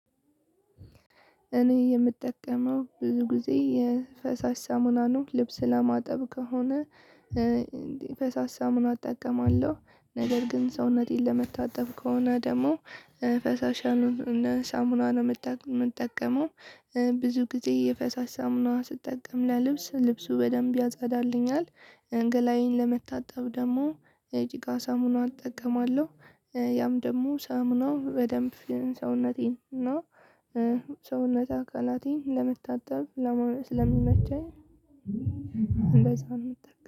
እኔ የምጠቀመው ብዙ ጊዜ የፈሳሽ ሳሙና ነው ልብስ ለማጠብ ከሆነ። ፈሳሽ ሳሙና እጠቀማለሁ ነገር ግን ሰውነቴን ለመታጠብ ከሆነ ደግሞ ፈሳሽ ያልሆነ ሳሙና ነው የምጠቀመው። ብዙ ጊዜ የፈሳሽ ሳሙና ስጠቀም ለልብስ ልብሱ በደንብ ያጻዳልኛል። ገላዬን ለመታጠብ ደግሞ የጭቃ ሳሙና እጠቀማለሁ ያም ደግሞ ሳሙናው በደንብ ሰውነቴን እና ሰውነት አካላቴን ለመታጠብ ስለሚመቸኝ። እንደዛ ነው የምትጠቀመው